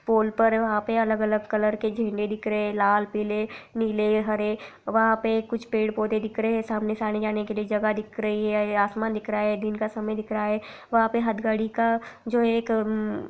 पोल पर वहाँ पे अलग-अलग कलर के झंडे दिख रहे हैं लाल पीले नीले हरे वहाँ पे कुछ पेड़-पौधे दिख रहे हैं सामने से आने-जाने के लिए जगह दिख रही हैं आसमान दिख रहा हैं दिन का समय दिख रहा है वहाँ पे हथकड़ी का जो एक अम --